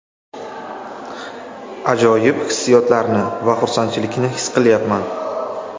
Ajoyib hissiyotlarni va xursandchilikni his qilyapman.